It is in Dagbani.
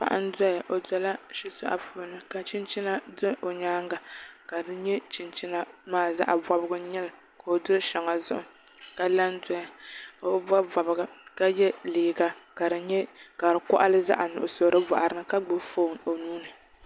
Paɣa n doya o dola shitoɣu puuni ka chinchina do o nyaanga ka di nyɛ chinchina maa zaɣ bobgu n nyɛli ka o do shɛŋa zuɣu ka la n doya o bi bob bobga ka yɛ liiga ka di koɣali zaɣ nuɣso di boɣari ni ka gbubi foon o nuuni